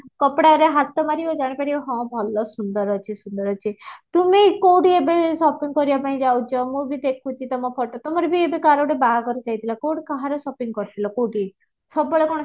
କପଡ଼ାରେ ହାତ ମାରିବ ଜାଣିପାରିବ ହଁ ଭଲ ସୁନ୍ଦର ଅଛି ସୁନ୍ଦର ଅଛି ତୁମେ କୋଉଠି ଏବେ shopping କରିବା ପାଇଁ ଯାଉଛ ମୁଁ ଭି ଦେଖୁଛି ତୁମ photo ତୁମର ବି ଏବେ କାହାର ବାହାଘର ଗୋଟେ ଯାଇଥିଲା କୋଉଠି କାହାର sopping କରିଥିଲ କୋଉଠି ସବୁ ବେଳେ କଣ